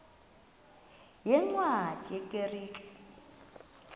yeencwadi ye kerk